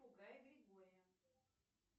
григория